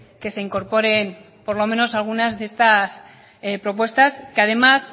que se incorporen por lo menos algunas de estas propuestas que además